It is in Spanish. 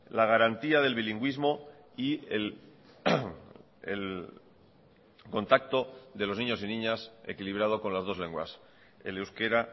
la garantía del bilingüismo y el contacto de los niños y niñas equilibrado con las dos lenguas el euskera